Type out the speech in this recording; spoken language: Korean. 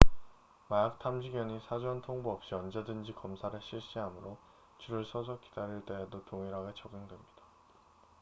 마약 탐지견이 사전 통보 없이 언제든지 검사를 실시하므로 줄을 서서 기다릴 때에도 동일하게 적용됩니다